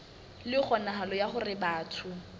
le kgonahalo ya hore batho